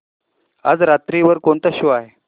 आज रात्री वर कोणता शो आहे